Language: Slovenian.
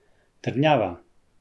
Trdnjava!